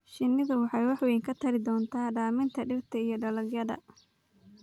Shinnidu waxay wax weyn ka tari doontaa daminta dhirta iyo dalagyada.